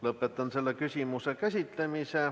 Lõpetan selle küsimuse käsitlemise.